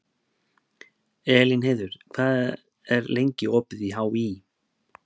Elínheiður, hvað er lengi opið í HÍ?